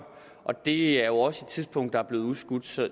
og det er jo også et tidspunkt der er blevet udskudt så